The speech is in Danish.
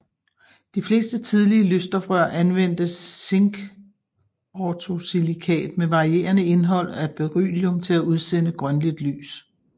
De fleste tidlige lysstofrør anvendte zinkortosilikat med varierende indhold af beryllium til at udsende grønligt lys